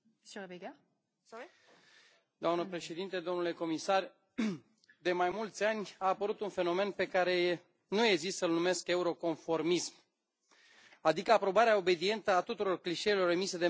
Doamnă președintă, domnule comisar, de mai mulți ani a apărut un fenomen pe care nu ezit să l numesc euroconformism, adică aprobarea obedientă a tuturor clișeelor emise de mainstream ul politic european.